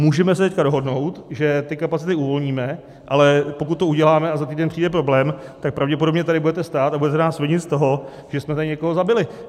Můžeme se teď dohodnout, že ty kapacity uvolníme, ale pokud to uděláme a za týden přijde problém, tak pravděpodobně tady budete stát a budete nás vinit z toho, že jsme tady někoho zabili.